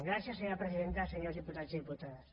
gràcies senyora presidenta senyors diputats i diputades